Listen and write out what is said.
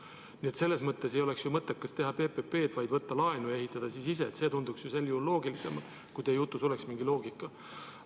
Nii et selles mõttes ei oleks ju mõttekas teha PPP-d, vaid võtta laenu ja ehitada ise – see tunduks sel juhul loogilisem, kui teie jutus oleks mingi loogika.